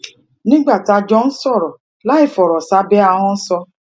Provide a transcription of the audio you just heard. nígbà tá a jọ ń sòrò láìfòrò sábé ahón sọ